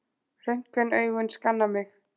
Röntgenaugun skanna mig.